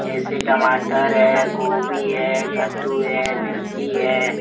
देसी टमाटर है गोभी है कद्दू है मिर्ची है।